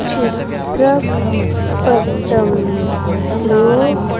చిత్ర పఠం లో--